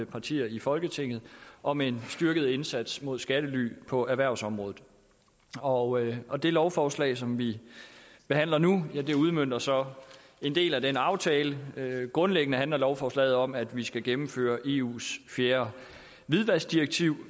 partier i folketinget om en styrket indsats mod skattely på erhvervsområdet og og det lovforslag som vi behandler nu udmønter så en del af den aftale grundlæggende handler lovforslaget om at vi skal gennemføre eus fjerde hvidvaskdirektiv